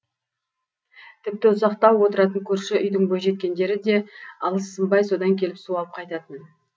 тіпті ұзақтау отыратын көрші үйдің бойжеткендері де алыссынбай содан келіп су алып қайтатын